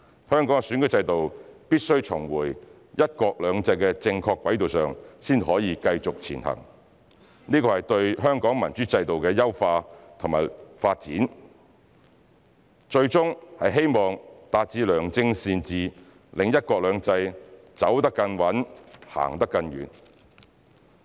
香港的選舉制度必須重回"一國兩制"的正確軌道上才可繼續前行，這是對香港民主制度的優化及民主制度的發展，最終是希望達致良政善治，讓"一國兩制"走得更穩、行得更遠。